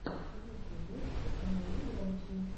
в ютюбе установи громчи